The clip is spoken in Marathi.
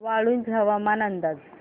वाळूंज हवामान अंदाज